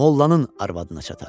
Mollanın arvadına çatar.